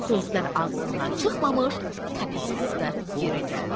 Sözdən ağzından çıxmamış təpəsi üstə yerə gəldi.